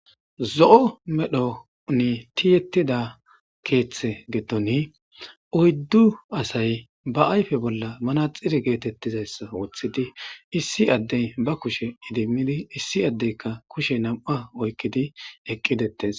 Zo'o medhdhoni tiyetidda keththa giddoni oyiddu asay ba ayiffe bollan maraxinne getetizayissa woththidi issi adde ba kushshen edimid issi addekka kushshe nam'akka oyikidi eqqi de'etes.